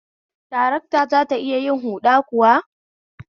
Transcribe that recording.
Tarakta zata iya yin huda kuwa?